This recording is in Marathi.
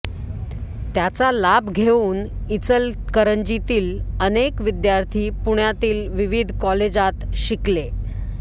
त्याचा लाभ घेऊन इचलकरंजीतील अनेक विद्यार्थी पुण्यातील विविध कॉलेजात शिकले